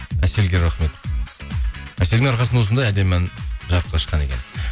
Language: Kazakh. әселге рахмет әселдің арқасында осындай әдемі ән жарыққа шыққан екен